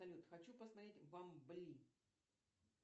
салют хочу посмотреть бамбли